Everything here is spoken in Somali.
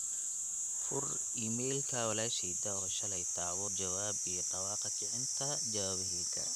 fur iimayka walasheyda o shaley taabo jawaab iyo dhawaaqa kicinta jawaabahayga